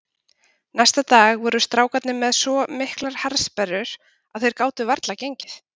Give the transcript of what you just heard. Næsta dag voru strákarnir með svo miklar harðsperrur að þeir gátu varla gengið.